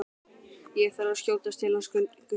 Ég þarf að skjótast til hans Gutta.